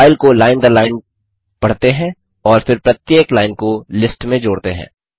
file को line दर line पढ़ते हैं और फिर प्रत्येक लाइन को लिस्ट में जोड़ते हैं